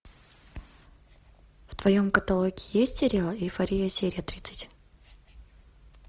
в твоем каталоге есть сериал эйфория серия тридцать